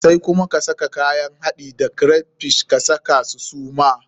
Sai kuma ka saka kayan haɗin da crayfish, ka saka su suma.